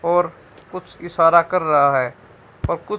और कुछ इशारा कर रहा है और कुछ--